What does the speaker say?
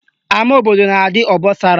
Ama obodo na-adị obosara